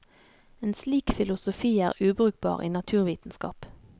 En slik filosofi er ubrukbar i naturvitenskap.